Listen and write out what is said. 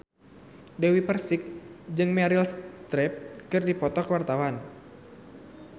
Dewi Persik jeung Meryl Streep keur dipoto ku wartawan